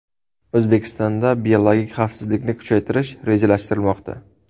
O‘zbekistonda biologik xavfsizlikni kuchaytirish rejalashtirilmoqda.